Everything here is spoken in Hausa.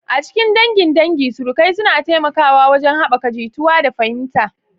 A cikin dangin dangi, surukai suna taimakawa wajen haɓaka jituwa da fahimta.